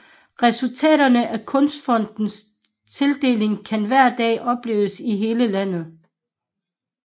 Resultaterne af Kunstfondens tildelinger kan hver dag opleves i hele landet